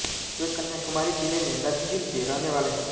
वे कन्याकुमारी जिले में नन्जिल के रहने वाले हैं